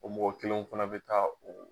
O mɔgɔ kelen fana bɛ taa o.